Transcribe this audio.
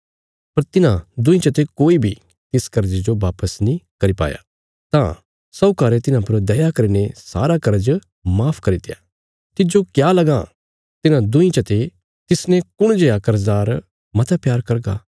पर तिन्हां दुईं चते कोई बी तिस कर्जे जो बापस नीं करी पाया तां साहूकारे तिन्हां पर दया करीने सारा कर्ज माफ करित्या तिज्जो क्या लगां तिन्हां दुईं चते तिसने कुण जेआ कर्जदार मता प्यार करगा